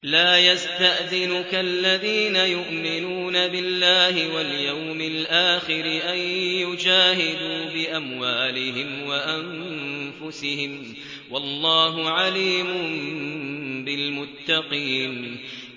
لَا يَسْتَأْذِنُكَ الَّذِينَ يُؤْمِنُونَ بِاللَّهِ وَالْيَوْمِ الْآخِرِ أَن يُجَاهِدُوا بِأَمْوَالِهِمْ وَأَنفُسِهِمْ ۗ وَاللَّهُ عَلِيمٌ بِالْمُتَّقِينَ